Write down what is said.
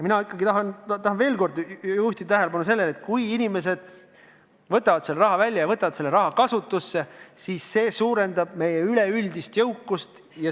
Ma juhin veel kord tähelepanu sellele, et kui inimesed võtavad selle raha välja ja võtavad selle kasutusse, siis see suurendab meie üleüldist jõukust.